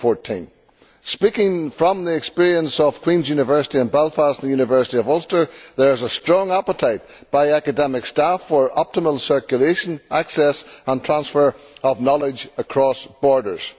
2014. Speaking from the experience of Queen's University in Belfast and the University of Ulster, there is a strong appetite among academic staff for optimum circulation, access and transfer of knowledge across borders.